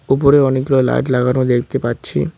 উপরে অনেকগুলো লাইট লাগানো দেখতে পাচ্ছি।